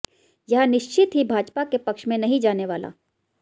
यह निश्चित ही भाजपा के पक्ष में नहीं जाने वाला